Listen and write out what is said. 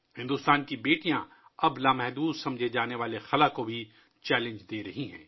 بھارت کی بیٹیاں اب خلا ء کو بھی چیلنج کر رہی ہیں ، جسے لامحدود سمجھا جاتا ہے